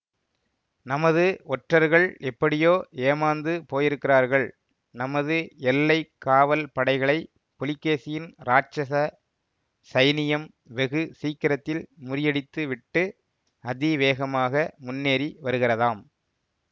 நமது ஒற்றர்கள் எப்படியோ ஏமாந்து போயிருக்கிறார்கள் நமது எல்லை காவல் படைகளை புலிகேசியின் ராட்சச சைனியம் வெகு சீக்கிரத்தில் முறியடித்து விட்டு அதிவேகமாக முன்னேறி வருகிறதாம்